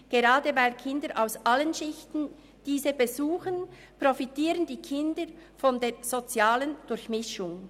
Gerade weil Kinder aus allen Schichten diese besuchen, profitieren die Kinder von der sozialen Durchmischung.